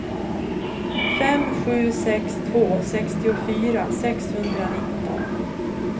fem sju sex två sextiofyra sexhundranitton